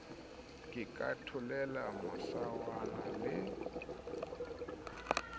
ke ka tholela masawana le